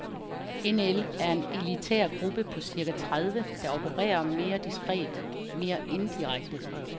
NL er en elitær gruppe på cirka tredive, der opererer mere diskret, mere indirekte.